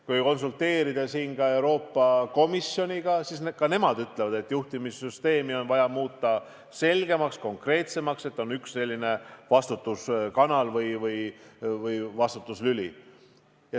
Kui konsulteerida Euroopa Komisjoniga, siis ka nemad ütlevad, et juhtimissüsteemi on vaja muuta selgemaks, konkreetsemaks, nii et oleks üks vastutuskanal või -lüli.